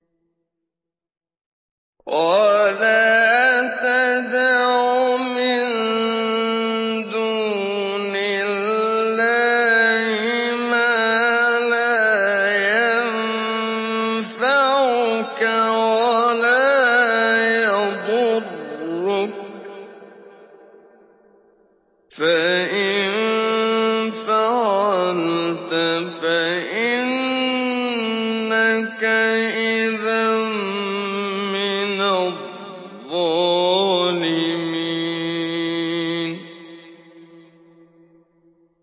وَلَا تَدْعُ مِن دُونِ اللَّهِ مَا لَا يَنفَعُكَ وَلَا يَضُرُّكَ ۖ فَإِن فَعَلْتَ فَإِنَّكَ إِذًا مِّنَ الظَّالِمِينَ